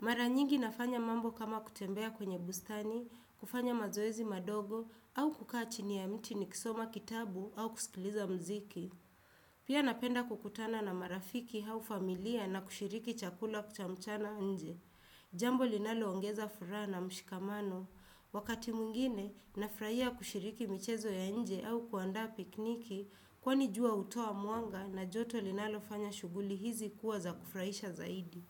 Mara nyingi nafanya mambo kama kutembea kwenye bustani, kufanya mazoezi madogo, au kukaa chini ya mti nikisoma kitabu au kusikiliza muziki. Pia napenda kukutana na marafiki au familia na kushiriki chakula cha mchana nje. Jambo linaloongeza furaha na mshikamano. Wakati mwingine nafurahia kushiriki michezo ya nje au kuandaa pikniki kwani jua hutoa mwanga na joto linalofanya shughuli hizi kuwa za kufurahisha zaidi.